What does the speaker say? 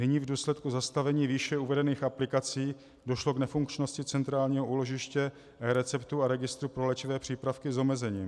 Nyní v důsledku zastavení výše uvedených aplikací došlo k nefunkčnosti centrálního úložiště receptů a registru pro léčivé přípravky s omezením.